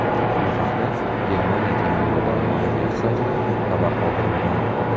Bu haqda Germaniya temir yo‘llari ma’muriyati saytida xabar qoldirilgan .